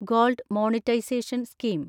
gold monetisation scheme